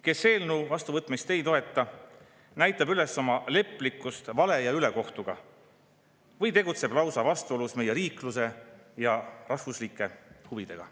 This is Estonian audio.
Kes eelnõu vastuvõtmist ei toeta, näitab üles leplikkust vale ja ülekohtuga või tegutseb lausa vastuolus meie riikluse ja rahvuslike huvidega.